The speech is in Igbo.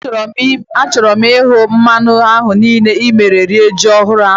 Éè, a chọrọ m ihu mmanwu ahu niile n'emume iri ji ọhụrụ ahu